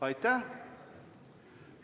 Aitäh!